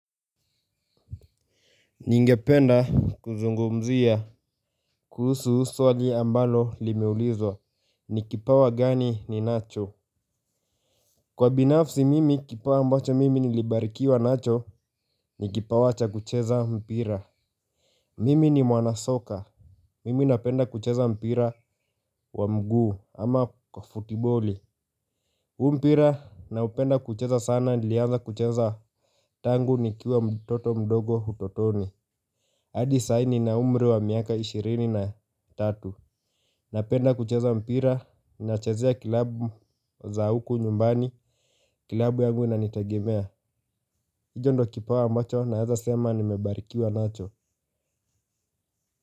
Ningependa kuzungumzia. Kuhusu husu swali ambalo limeulizwa ni kipawa gani ni nacho. Kwa binafsi mimi kipawa ambacho mimi nilibarikiwa nacho ni kipawa cha kucheza mpira. Mimi ni mwanasoka. Mimi napenda kucheza mpira wa mguu ama kwa futiboli. Mpira na upenda kucheza sana nilianza kucheza tangu nikiwa mtoto mdogo utotoni. Adi saini na umri wa miaka ishirini na tatu. Napenda kucheza mpira, inachezea klabu za huku nyumbani, kilabu ya nguwe na nitagemea. Icho ndo kipawa mwacho na yaza sema nimebarikiwa nacho.